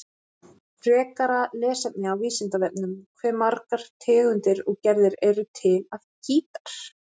Frekara lesefni á Vísindavefnum: Hve margar tegundir og gerðir eru til af gítar?